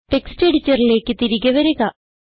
text എഡിറ്ററിലേക്ക് തിരികെ വരിക